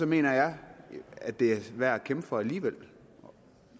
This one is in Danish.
mener jeg at det er værd at kæmpe for alligevel